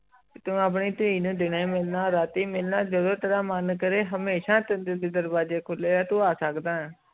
ਤੂੰ ਆਪਣੀ ਧੀ ਨੂੰ ਰਾਤੀ ਮਿਲਣਾ ਦੀਨੇ ਮਿਲਣਾ ਜਾਦੂ ਤੇਰਾ ਮਨ ਕੇਰੇ ਹਮੇਸ਼ਾ ਤੇਰੇ ਲਾਇ ਦਰਵਾਜ਼ੇ ਖੁਲੇ ਹੈ ਤੂੰ ਆਹ ਸਕਦਾ ਹੈ